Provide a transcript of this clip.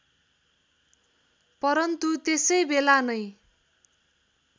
परन्तु त्यसैबेला नै